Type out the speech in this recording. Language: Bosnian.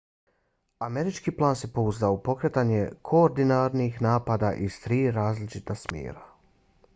američki plan se pouzdao u pokretanje koordiniranih napada iz tri različita smjera